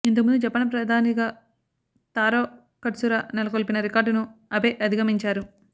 ఇంతకు ముందు జపాన్ ప్రధానిగా తారో కట్సుర నెలకొల్పిన రికార్డును అబె అధిగమించారు